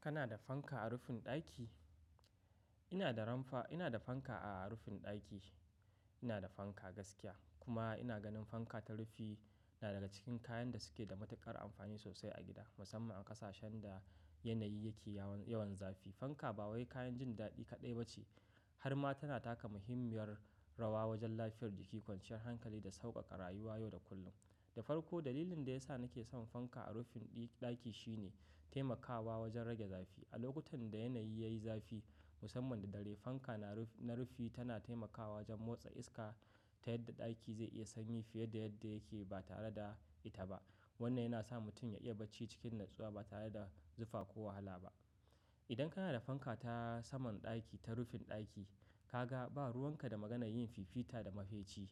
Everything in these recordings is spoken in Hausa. Kana da fanka a rufin ɗaki? Ina da rampa, ina da fanka a rufin ɗaki. Ina da fanka gaskiya kuma ina ganin fanka ta rufi na daga cikin kayan da suke da matuƙar amfani sosai a gida musamman a ƙasashen da yanayi yake yawan, yawan zafi. Fanka ba wai kayan jin daɗi kaɗai ba ce har ma tana taka muhimmiyar rawa wajen lafiyar jiki, kwanciyar hankali da sauƙaƙa rayuwa yau da kullum. Da farko dalilin da ya sa nake son fanka a rufin ɗaki shine taimakawa wajen rage zafi. A lokutan da yanayi yayi zafi musamman da dare, fanka na rufi tana taimakawa wajen motsa iska ta yadda ɗaki zai iya sanyi fiye da yadda yake ba tare da ita ba. Wannan yana sa mutum ya iya bacci cikin natsuwa ba tare da zufa ko wahala ba. Idan kana da fanka ta saman ɗaki, ta rufin ɗaki, ka ga ba ruwan ka da maganan yin fifita da mafeci.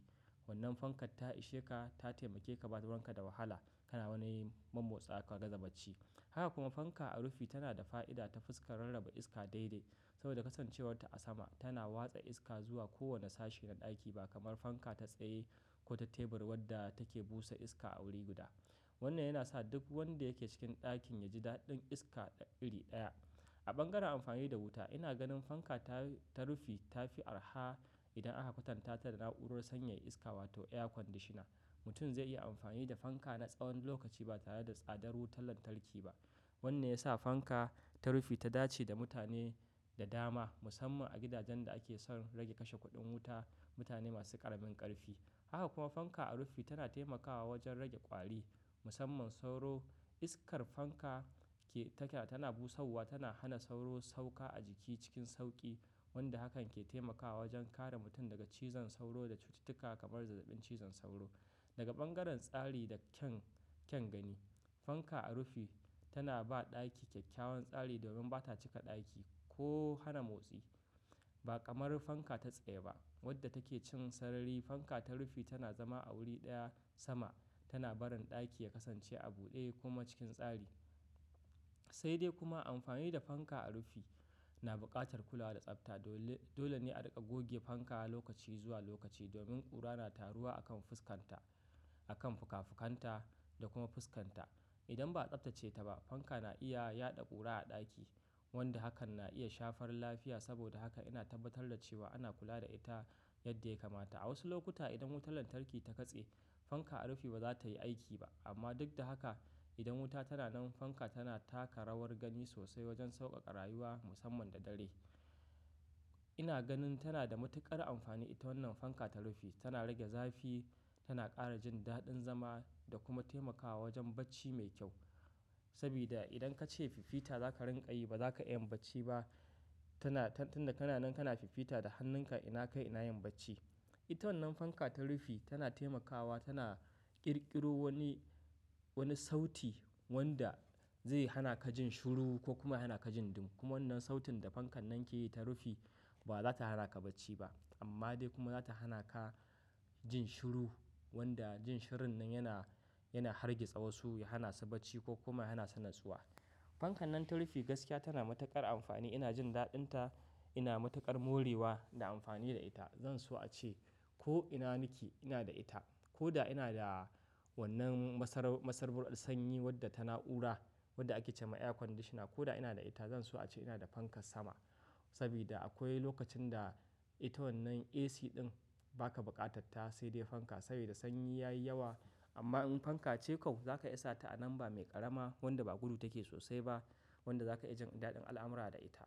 Wannan fankar ta ishe ka, ta taimake ka ba ruwan ka da wahala. Kana wani yin mammotsawa ka gaza zaba ci. Haka kuma fanka a rufi tana da fa'ida ta fuskar rarraba iska daidai saboda kasancewar ta a sama. Tana watsa iska zuwa kowane sashi na ɗaki ba kamar fanka ta tsaye ko ta tebur wadda take busa iska a wuri guda. Wannan yana sa duk wanda yake cikin ɗakin ya ji daɗin iska iri ɗaya. A bangaren amfani da wuta, ina ganin fanka ta, ta rufi ta fi arha idan aka kwatanta ta da na'urar sanyaya iska wato air conditioner. Mutum zai iya amfani da fanka na tsawon lokaci ba tare da tsadar wutar lantarki ba. Wannan ya sa fanka ta rufi ta dace da mutane da dama musamman a gidajen da ake son rage kashe kuɗin wuta, mutane masu ƙaramin ƙarfi. Haka kuma fanka a rufi tana taimakawa wajen rage ƙwari musamman sauro. Iskar fanka ke, take tana busawa tana hana sauro sauka a jiki cikin sauƙi wanda hakan ke taimakawa wajen kare mutum daga cizon sauro da cututtuka kamar zazzabin cizon sauro. Daga bangaren tsari da kyan, kyan gani, fanka a rufi tana ba ɗaki kyakkyawan tsari domin bata cika ɗaki ko hana motsi ba kamar fanka ta tsaye ba wadda take cin sarari. Fanka ta rufi tana zama a wuri ɗaya sama, tana barin ɗaki ya kasance a buɗe kuma cikin tsari. Sai dai kuma amfani da fanka a rufi na buƙatar kula da tsafta. Dole, dole ne a riƙa goge fanka lokaci zuwa lokaci domin ƙura na taruwa a kan fuskanta, a kan fikafikanta da kuma fuskanta. Idan ba a tsaftace ta ba, fanka na iya yaɗa ƙura a ɗaki wanda hakan na iya shafar lafiya. Saboda haka ina tabbatar da cewa ana kula da ita yadda ya kamata. A wasu lokuta idan wutar lantarki ta katse, fanka a rufi ba za ta yi aiki ba. Amma duk da haka, idan wuta tana nan fanka tana taka rawar gani sosai wajen sauƙaƙa rayuwa musamman da dare. Ina ganin tana da matuƙar amfani ita wannan fanka ta rufi. Tana rage zafi, tana ƙara jin daɗin zama da kuma taimakawa wajen bacci mai kyau. Saboda idan ka ce fifita za ka rinƙa yi ba za ka iya bacci ba. Tana, tun da ka na nan ka na fifita da hannunka ina kai ina yin bacci. Ita wannan fanka ta rufi tana taimakawa, tana ƙirƙiro wani, wani sauti wanda zai hana ka jin shiru ko kuma hana ka jin ɗumi. Kuma wannan sautin da fankan nan ke yi ta rufi ba za ta hana ka bacci ba amma dai kuma za ta hana ka jin shiru wanda jin shirun nan yana, yana hargitsa wasu, ya hanasu bacci ko kuma yana su natsuwa. Fankan nan ta rufi gaskiya tana matuƙar amfani. Ina jin daɗinta, ina matuƙar morewa da amfani da ita. Zan so ace ko ina nake ina da ita ko da ina da wannan masar, masarbur sanyi wadda ta na'ura wadda ake ce ma air conditioner ko da ina da ita zan so ace ina da fankar sama. Saboda akwai lokacin da ita wannan AC ɗin ba ka buƙatarta sai dai fanka saboda sanyi yayi yawa. Amma in fanka ce kau za ka iya sa ta a nan ba mai ƙarama wanda ba gudu take sosai ba wanda za ka iya jin daɗin al'amura da ita.